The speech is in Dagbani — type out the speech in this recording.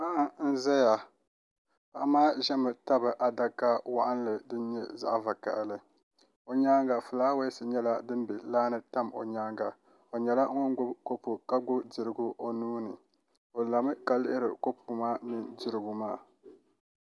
Paɣa n ʒɛya paɣa maa ʒɛmi tabi adaka waɣanli din myɛ zaɣ vakaɣali o nyaanga fulaawaasi nyɛla din bɛ laa ni tam o nyaanga o nyɛla ŋun gbubi kopu ka gbubi dirigu o nuuni o lami ka lihiri kopu maa mini dirigu maa